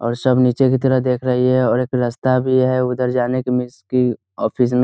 और सब नीचे की तरह देख रही हैं और एक रास्ता भी है उधर जाने की मिस की ऑफिस --